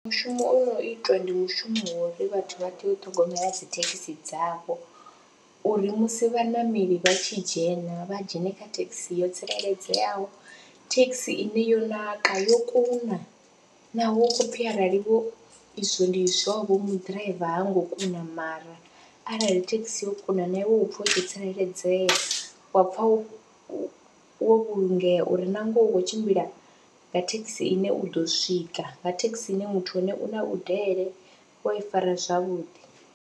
Mushumo o no itwa ndi mushumo wa uri vhathu vha tea u ṱhogomela dzi thekhisi dzavho uri musi vhaṋameli vha tshi dzhena vha dzhene kha thekhisi yo tsireledzeaho, thekhisi ine yo naka, yo kuna naho hu khou pfhi aralivho izwo ndi izwovho mu ḓiraiva ha ngo kuna mara arali thekhisi yo kuna na iwe u pfha wo tsireledzea wa pfha wo wo vhulungea uri na ngoho u khou tshimbila nga thekhisi ine u ḓo swika, nga thekhisi ine muthu wa hone u na u vhudele, u a i fara zwavhuḓi.